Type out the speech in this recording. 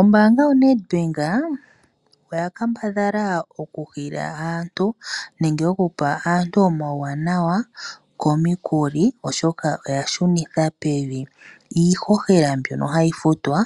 Ombaanga yoNedbak oya kambadhala okuhiila aantu nenge okupa aantu omauwana komikuli, oshoka oya shunitha pevi iihohela mbyono hayi futwa